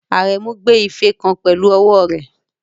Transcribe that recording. Aremu gbé ife kan pẹ̀lú ọwọ́ rẹ̀.